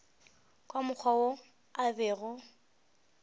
ka mokgwa wo a bego